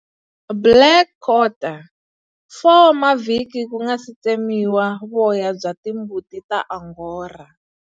Blackquarter 4 wa mavhiki ku nga si tsemiwa voya bya timbuti ta Angora.